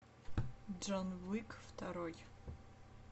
джон уик второй